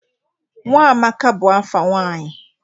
Nwamaka bụ afa nwanyị.